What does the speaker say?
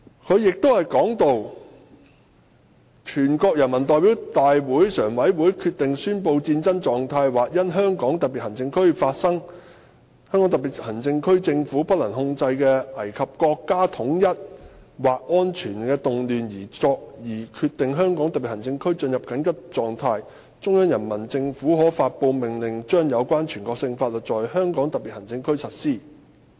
"此外，"全國人民代表大會常務委員會決定宣布戰爭狀態或因香港特別行政區內發生香港特別行政區政府不能控制的危及國家統一或安全的動亂而決定香港特別行政區進入緊急狀態，中央人民政府可發布命令將有關全國性法律在香港特別行政區實施。